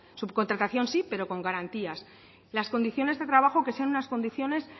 subcontratación sí pero con garantías las condiciones de trabajo que sean unas condiciones